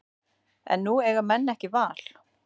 En nú eiga menn ekki val